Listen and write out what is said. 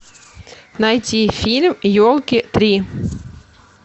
найти фильм елки три